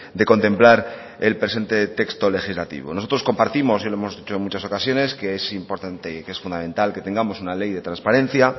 de contemplar el presente texto legislativo nosotros compartimos y lo hemos dicho en muchas ocasiones que es importante y que es fundamental que tengamos una ley de transparencia